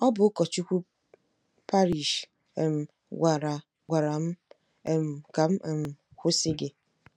Ọ bụ ụkọchukwu parish um gwara gwara m um ka m um kwụsị gị. ”